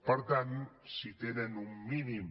per tant si tenen un mínim